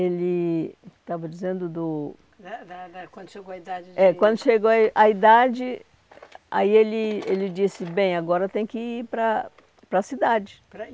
Ele estava dizendo do eh da da... Quando chegou a idade de... É, quando chegou a i a idade, aí ele ele disse, bem, agora tem que ir para a para a cidade.